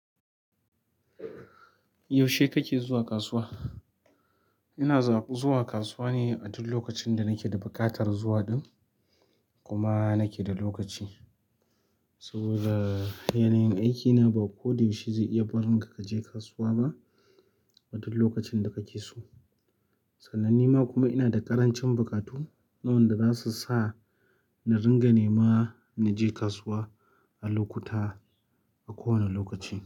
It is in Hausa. Yaushe kake zuwa kasuwa? Ina zuwa kasuwa ne a duk lokacin da nake da buƙatar zuwa din kuma nake da lokaci. Saboda yanayin aikina ba ko da yaushe zai iya barin ka ka je kasuwa ba a duk lokacin da kake so. Sananne nima ma kuma ina da ƙarancin buƙatu waɗanda za su sa na ringa nema na je kasuwa a lokuta, a kowane lokaci.